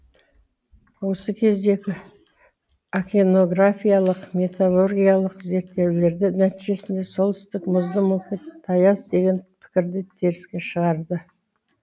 осы кездегі океанографиялық металлургиялық зерттеулерді нәтижесінде солтүстік мұзды мұхит таяз деген пікірді теріске шығарды